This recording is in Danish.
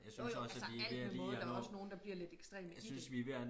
jo jo altså alt med måde der er også nogen der bliver lidt ekstreme i det